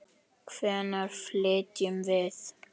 Hvenær flytjum við?